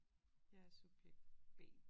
Jeg er subjekt B